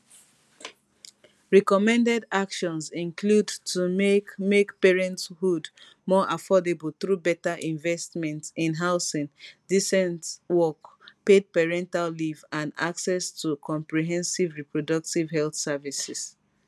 recommended actions include to make make parenthood more affordable through beta investments in housing decent work paid parental leave and access to comprehensive reproductive health services